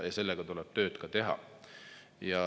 Sellega tulebki tööd teha.